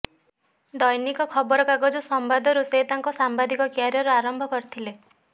ଦୈନିକ ଖବର କାଗଜ ସମ୍ବାଦରୁ ସେ ତାଙ୍କ ସାମ୍ବାଦିକ କ୍ୟାରିୟର ଆରମ୍ଭ କରିଥିଲେ